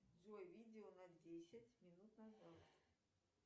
джой видео на десять минут назад